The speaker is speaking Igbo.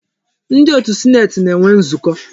Ndi otu sineeti na-enwe nzukọ.